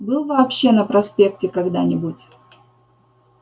был вообще на проспекте когда-нибудь